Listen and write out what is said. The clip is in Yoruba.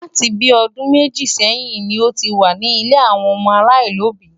Láti bí ọdún méjì sẹ́yìn ni ó ti wà ní ilé àwọn ọmọ aláìlóbìí.